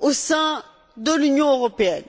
au sein de l'Union européenne.